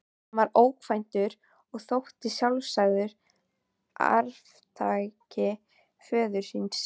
Hann var ókvæntur og þótti sjálfsagður arftaki föður síns.